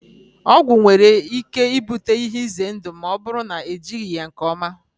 Ọgwụ nwere ike ibute ihe ize ndụ ma ọ bụrụ na ejighị ya nke ọma.